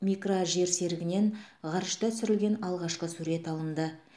микрожерсерігінен ғарышта түсірілген алғашқы сурет алынды